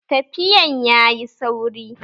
Tafiyan ya yi sauri